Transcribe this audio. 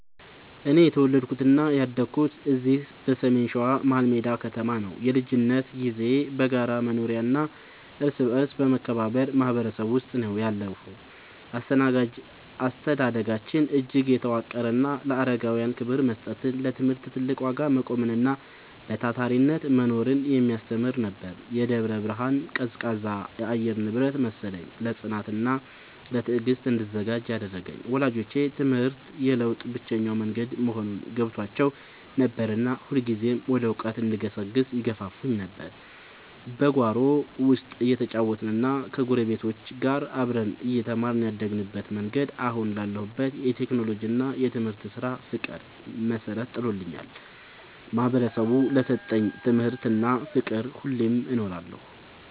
እኔ የተወለድኩትና ያደግኩት እዚሁ በሰሜን ሸዋ፣ መሀልሜዳ ከተማ ነው። የልጅነት ጊዜዬ በጋራ መኖሪያና እርስ በርስ በመከባበር ማህበረሰብ ውስጥ ነው ያለፈው። አስተዳደጋችን እጅግ የተዋቀረና ለአረጋውያን ክብር መስጠትን፣ ለትምህርት ትልቅ ዋጋ መቆምንና በታታሪነት መኖርን የሚያስተምር ነበር። የደብረ ብርሃን ቀዝቃዛ የአየር ንብረት መሰለኝ፣ ለጽናትና ለትዕግስት እንድዘጋጅ ያደረገኝ። ወላጆቼ ትምህርት የለውጥ ብቸኛው መንገድ መሆኑን ገብቷቸው ነበርና ሁልጊዜም ወደ እውቀት እንድገሰግስ ይገፋፉኝ ነበር። በጓሮ ውስጥ እየተጫወትንና ከጎረቤቶች ጋር አብረን እየተማርን ያደግንበት መንገድ፣ አሁን ላለሁበት የቴክኖሎጂና የትምህርት ስራ ፍቅር መሰረት ጥሎልኛል። ማህበረሰቡ ለሰጠኝ ትምህርትና ፍቅር ሁሌም እኖራለሁ።